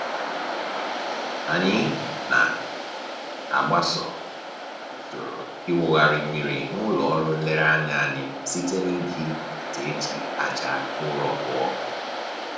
Anyị na-agbaso usoro ịwụgharị mmiri n'ụlọ ọrụ nlereanya anyị site n'iji ite e ji aja ụrọ kpụọ